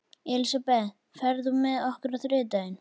Elisabeth, ferð þú með okkur á þriðjudaginn?